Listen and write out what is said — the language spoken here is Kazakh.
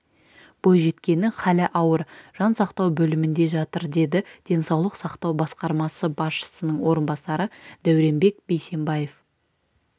бойжеткеннің халі ауыр жан сақтау бөлімінде жатыр деді денсаулық сақтау басқармасы басшысының орынбасары дәуренбек бейсембаев